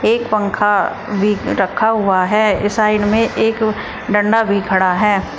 एक पंखा भी रखा हुआ है ये साइड में एक डंडा भी खड़ा है।